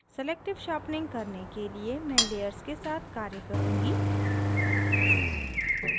selective sharpening करने के लिए मैं layers के साथ कार्य करुँगी